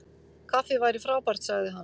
Kaffi væri frábært- sagði hann.